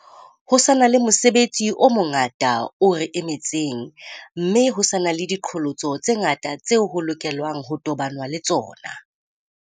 Ho sa na le mosebetsi o mongata o re emetseng, mme ho sa na le diqholotso tse ngata tseo ho lokelwa ng ho tobanwa le tsona.